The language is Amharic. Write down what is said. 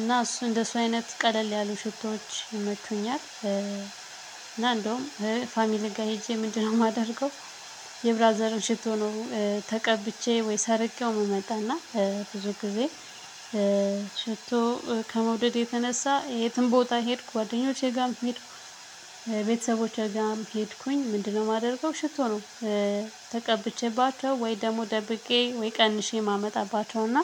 እና እሱ እንደሱ አይነት ቀለል ያሉ ሽቶዎች ይመቹኛል። እና እንደውም ፋሚሊን ጋር ሄጄ ምንድነው የማደርገው? የብራዘርን ሽቶ ነው ተቀብቼ ወይ ሰርቄው እመጣና ብዙ ጊዜ። ሽቶ ከመውደድ የተነሳ የትም ቦታ ሄድኩ ጓደኞቼ ጋርም ሄድኩ። ቤተሰቦቼ ጋርም ሄድኩኝ ምንድነው የማደርገው ሽቶ ነው። ተቀብቼባቸው ወይ ደግሞ ደብቄ ወይ ቀንሼ ማመጣባቸውና።